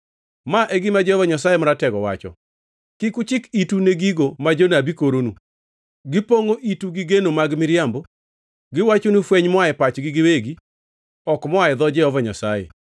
Ma e gima Jehova Nyasaye Maratego wacho: “Kik uchik itu ne gigo ma jonabi koronu; gipongʼo itu gi geno mag miriambo. Giwachonu fweny moa e pachgi giwegi, ok moa e dho Jehova Nyasaye.